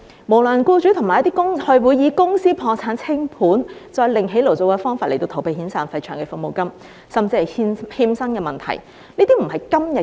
無良僱主會以公司破產清盤再另起爐灶的方法，逃避遣散費和長期服務金甚至欠薪的問題。